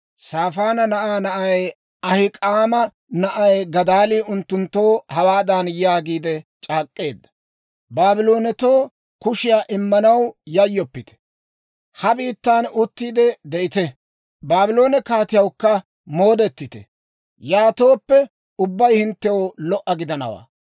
Saafaana na'aa na'ay, Ahik'aama na'ay Gadaalii unttunttoo hawaadan yaagiide c'aak'k'eedda; «Baabloonetoo kushiyaa immanaw yayyoppite; ha biittan uttiide de'ite; Baabloone kaatiyawukka moodettite. Yaatooppe, ubbabay hinttew lo"a gidanawaa.